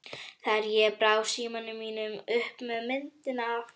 þegar ég brá símanum mínum upp með myndinni af